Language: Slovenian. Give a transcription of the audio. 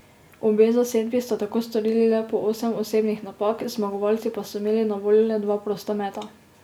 Obe zasedbi sta tako storili le po osem osebnih napak, zmagovalci pa so imeli na voljo le dva prosta meta.